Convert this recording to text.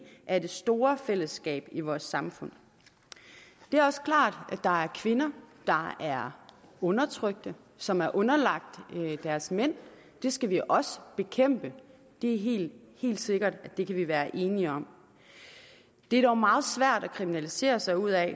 af det store fællesskab i vores samfund det er også klart at der er kvinder der er undertrykte som er underlagt deres mænd det skal vi også bekæmpe det er helt sikkert det kan vi være enige om det er dog meget svært at kriminalisere sig ud af